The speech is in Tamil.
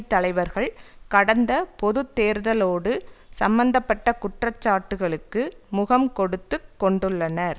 தலைவர்கள் கடந்த பொது தேர்தலோடு சம்பந்த பட்ட குற்றச்சாட்டுக்களுக்கு முகம்கொடுத்துக் கொண்டுள்ளனர்